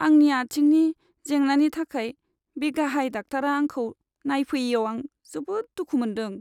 आंनि आथिंनि जेंनानि थाखाय बे गाहाय डाक्टारआ आंखौ नायफैयैयाव आं जोबोद दुखु मोनदों।